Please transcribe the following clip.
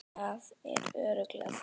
Það eru örlög þetta!